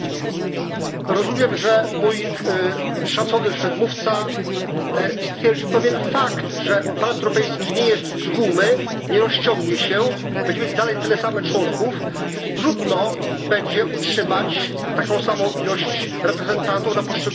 Rozumiem, że mój szacowny przedmówca stwierdził pewien fakt, że Parlament Europejski nie jest z gumy, nie rozciągnie się, będzie mieć dalej tyle samo członków, więc trudno będzie utrzymać taką samą ilość reprezentantów dla poszczególnych krajów.